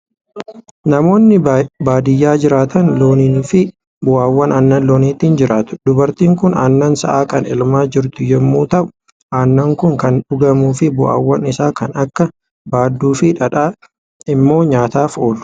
Namoonni baadiyaa jiraatan loonnii fi bu'aawwan aannan looniitiin jiraatu. Dubartiin kun aannan sa'aa kan elmaa jirtu yommuu ta'u, aannan kun kan dhugamuu fi bu'aawwan isaa kan akka baaduu fi dhadhaa immoo nyaataaf oolu.